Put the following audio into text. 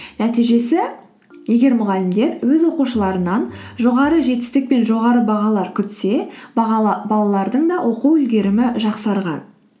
нәтижесі егер мұғалімдер өз оқушыларынан жоғары жетістік пен жоғары бағалар күтсе балалардың да оқу үлгерімі жақсарған